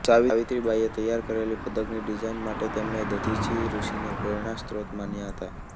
સાવિત્રીબાઈએ તૈયાર કરેલી પદકની ડિઝાઇન માટે તેમણે દધીચી ઋષિને પ્રેરણાસ્રોત માન્યા હતા